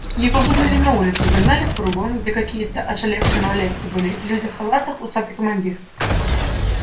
его выгнали на улицу загнали в фургон где какие-то ошалевшие малолетки были люди в халатах усатый командир